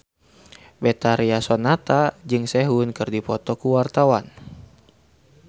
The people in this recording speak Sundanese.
Betharia Sonata jeung Sehun keur dipoto ku wartawan